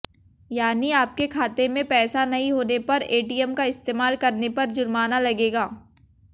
यानी आपके खाते में पैसा नहीं होने पर एटीएम का इस्तेमाल करने पर जुर्माना लगेगा